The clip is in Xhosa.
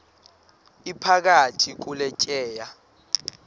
iphakathi kule tyeya